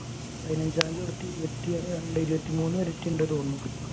പതിനഞ്ചാം തീയതി തൊട്ട് ഇരുപത്തി രണ്ട് ഇരുപത്തി മൂന്ന് വരെയൊക്കെ ഉണ്ട് എന്ന് തോന്നുന്നു.